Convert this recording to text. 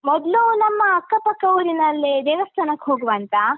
ಮೊದ್ಲು ನಮ್ಮ ಅಕ್ಕಪಕ್ಕ ಊರಿನಲ್ಲಿ ದೇವಸ್ಥಾನಕ್ಕೆ ಹೋಗುವಾಂತ.